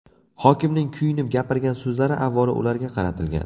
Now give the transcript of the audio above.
Hokimning kuyinib gapirgan so‘zlari, avvalo, ularga qaratilgan.